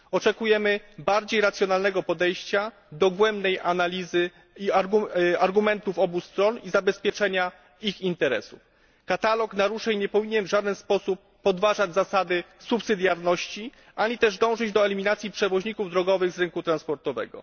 Oczekujemy bardziej racjonalnego podejścia, dogłębnej analizy argumentów obu stron i zabezpieczenia ich interesów. Katalog naruszeń nie powinien w żaden sposób podważać zasady subsydiarności ani też dążyć do eliminacji przewoźników drogowych z rynku transportowego.